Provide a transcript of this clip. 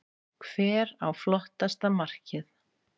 Hver á flottasta markið?